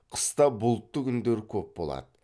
қыста бұлтты күндер көп болады